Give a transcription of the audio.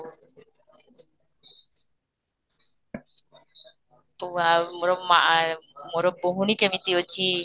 ଆଉ ମୋର ମାଆ ମୋର ଭଉଣୀ କେମିତି ଅଛି?